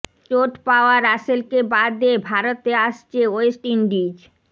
চোট পাওয়া রাসেলকে বাদ দিয়ে ভারতে আসছে ওয়েস্ট ইন্ডিজ